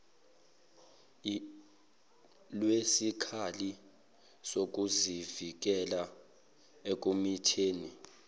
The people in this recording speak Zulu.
lwesikhali sokuzivikela ekumitheni